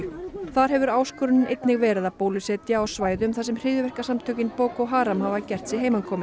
þar hefur áskorunin einnig verið að bólusetja á svæðum þar sem hryðjuverkasamtökin Boko Haram hafa gert sig